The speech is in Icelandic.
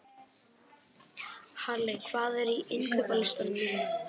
Halley, hvað er á innkaupalistanum mínum?